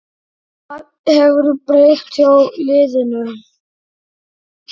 Hvað hefur breyst hjá liðinu?